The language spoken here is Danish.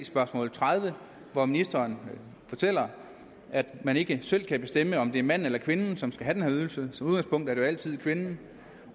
spørgsmål tredive hvor ministeren fortæller at man ikke selv kan bestemme om det er manden eller kvinden som skal have den her ydelse som udgangspunkt er det jo altid kvinden